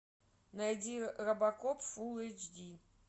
найди робокоп фулл эйч ди